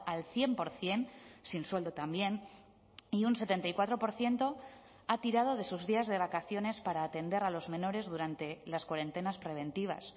al cien por ciento sin sueldo también y un setenta y cuatro por ciento ha tirado de sus días de vacaciones para atender a los menores durante las cuarentenas preventivas